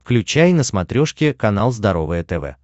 включай на смотрешке канал здоровое тв